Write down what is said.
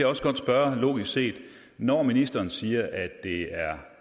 også godt spørge logisk set når ministeren siger at det er